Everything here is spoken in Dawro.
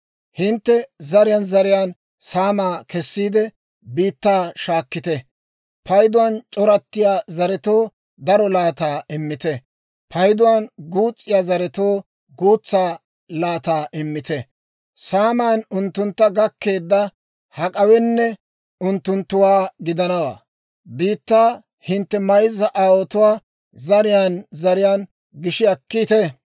Hintte zariyaan zariyaan saamaa kessiide, biittaa shaakkite. Payduwaan c'orattiyaa zaretoo daro laataa immite; payduwaan guus's'iyaa zaretoo guutsaa laataa immite. Saaman unttuntta gakkeedda hak'awenne unttunttuwaa gidanawaa. Biittaa hintte mayzza aawotuwaa zariyaan zariyaan gishi akkiita.